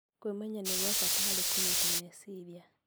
Kwĩmenya nĩ gwa bata harĩ kũnyita meciria